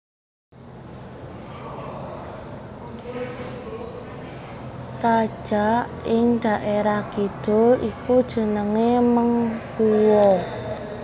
Raja ing dhaerah kidul iku jenenge Meng Huo